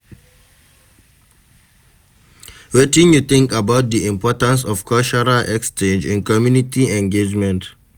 Wetin you think about di importance of cultural exchange in community engagement?